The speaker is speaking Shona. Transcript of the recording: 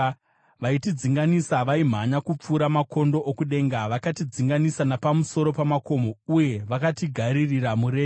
Vaitidzinganisa vaimhanya kupfuura makondo okudenga; vakatidzinganisa napamusoro pamakomo uye vakatigaririra murenje.